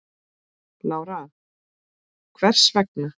Lára: Hvers vegna?